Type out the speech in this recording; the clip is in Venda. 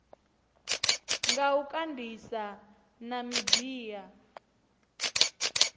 nga u kandisa na midia